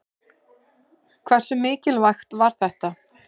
Hversu mikilvægt var þetta?